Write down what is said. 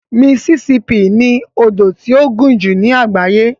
Mississippi ni odò tí ó gùn jù ní àgbáyé.